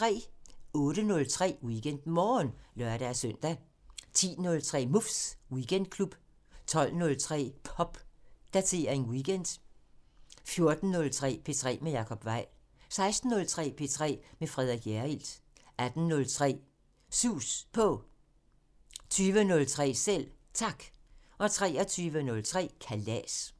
08:03: WeekendMorgen (lør-søn) 10:03: Muffs Weekendklub 12:03: Popdatering weekend 14:03: P3 med Jacob Weil 16:03: P3 med Frederik Hjerrild 18:03: Sus På 20:03: Selv Tak 23:03: Kalas